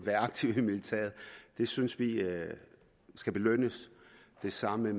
aktiv i militæret og det synes vi skal belønnes det samme